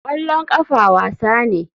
Kwallon kafa wasa ne.